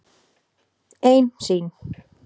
Ein sýn.